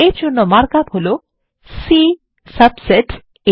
এর জন্য mark up হলো C সাবসেট A